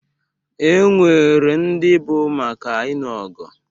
E nwere ndị bụ maka inụ ọgụ.